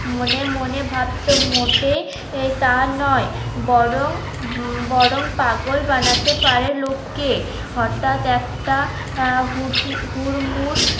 মনে মনে ভাবতো মোটেই এই তা নয় বরং বরং পাগল বানাতে পারে লোককে হঠাৎ একটা আহ হুড়মুড়